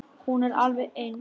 Hún er alveg eins.